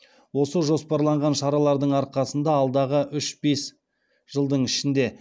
осы жоспарланған шаралардың арқасында алдағы үш бес жылдың ішінде